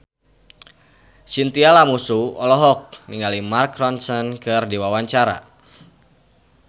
Chintya Lamusu olohok ningali Mark Ronson keur diwawancara